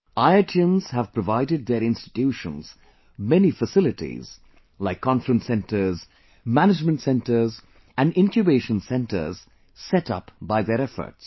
IITians have provided their institutions many facilities like Conference Centres, Management Centres& Incubation Centres set up by their efforts